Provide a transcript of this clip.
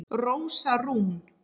Rósa Rún